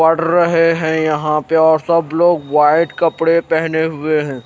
पढ़ रहे हैं यहां पे और सब लोग वाईट कपड़े पहने हुए हैं।